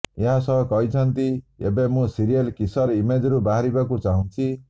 ଏହା ସହ କହିଛନ୍ତି ଏବେ ମୁଁ ସିରିଏଲ୍ କିସର୍ ଇମେଜରୁ ବାହାରିବାକୁ ଚାହୁଁଛି